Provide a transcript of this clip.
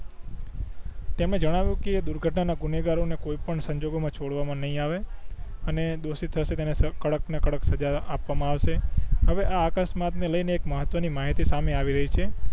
તેમણે જણાવિયું કે દુર્ઘટના ના ગુનેગારો ને કોઈ પણ સંજોગો માં છોડવા માં નય આવે અને દોષિત હસે તેને કડક માં કડક સજા આપવા માં આવસે હવે આ અકસ્માત ને લઈ ને એક મહત્વ ની માહિતી સામે આવી રહી છે